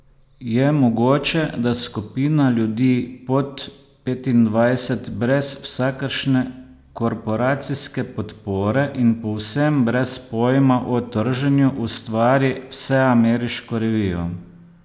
Je mogoče, da skupina ljudi pod petindvajset brez vsakršne korporacijske podpore in povsem brez pojma o trženju ustvari vseameriško revijo?